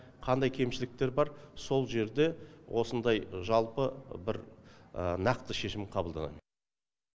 қандай кемшіліктер бар сол жерде осындай жалпы бір нақты шешім қабылданады